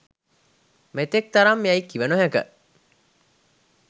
මෙතෙක් තරම් යැයි කිව නොහැක